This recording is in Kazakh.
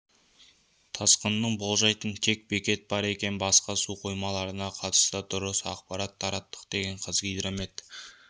тасқынын болжайтын тек бекет бар екен басқа су қоймаларына қатысты дұрыс ақпарат тараттық деген қазгидромет